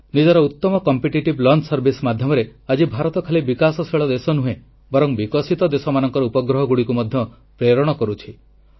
ନିଜର ଉତ୍ତମ ପ୍ରତିଯୋଗିତାମୂଳକ ଉତକ୍ଷେପଣ ଯାନ ମାଧ୍ୟମରେ ଆଜି ଭାରତ ଖାଲି ବିକାଶଶୀଳ ଦେଶ ନୁହେଁ ବରଂ ବିକଶିତ ଦେଶମାନଙ୍କର ଉପଗ୍ରହଗୁଡ଼ିକୁ ମଧ୍ୟ ପ୍ରେରଣ କରୁଛି